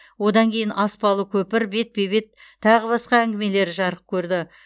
онан кейін аспалы көпір бетпе бет тағы басқа әңгімелері жарық көрді